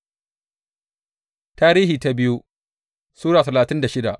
biyu Tarihi Sura talatin da shida